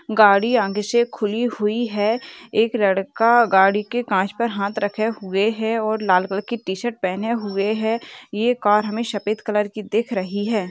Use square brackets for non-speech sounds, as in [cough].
[noise] गाडी आगे से खुली हुई है। एक लड़का गाड़ी के काच पर हाथ रखे हुए है और लाल कलर की टी शर्ट पहने हुआ है। ये कार हमे सफ़ेद कलर की दिख रही है। [noise]